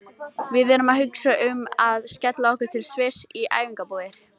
Við erum að hugsa um að skella okkur til Sviss í æfingabúðir.